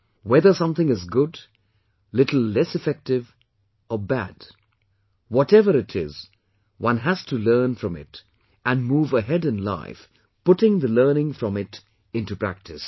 Whether something is good, little less effective or bad, whatever it is, one has to learn from it and move ahead in life putting the learning from it into practice